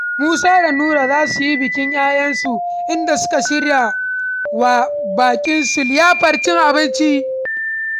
Musa da Nura za su yi bikin ‘ya’yansu, inda suka shirya wa baƙinsu liyafar cin abinci.